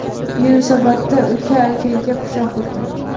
Yunusobodda uka akaga pichoq urdi.